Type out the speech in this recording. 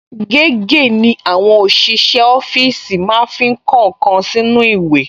Gègé ni àwọn ọṣìṣẹ́ ọfíìsì máa ń fi kọ nǹkan sínú ìwé